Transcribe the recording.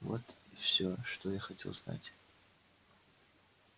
вот все что я хотел знать